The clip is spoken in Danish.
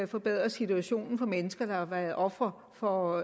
forbedrer situationen for mennesker der har været ofre for